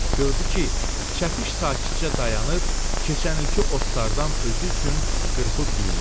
Gördü ki, çəpiş sakitcə dayanır, keçən ilki otlardan özü üçün qırpıb yeyir.